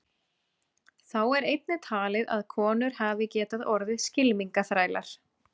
Þá er einnig talið að konur hafi getað orðið skylmingaþrælar.